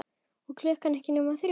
Og klukkan ekki nema þrjú.